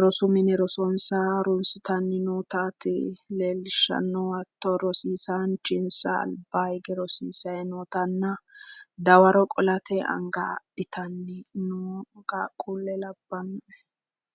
rosu mine rosonsa harunsitanni nootati leellishshannohu hatto rosiisaanchinsa albaa hige rosiisayi nootanna dawaro qolate anga adhitanni noo qaaqquulle labbanno.